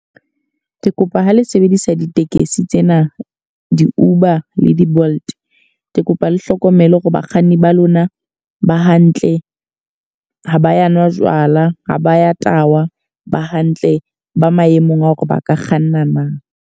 Ke kopa ho le sebedisa ditekesi tsena di-Uber le di-bolt. Ke kopa le hlokomele hore bakganni ba lona ba hantle, ha ba ya nwa jwala, ha ba ya tahwa. Ba hantle, ba maemong a hore ba ka kganna na.